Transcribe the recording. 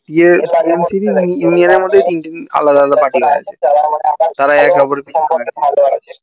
নিজেদেরই মধ্যে তিনটে আলাদা আলাদা party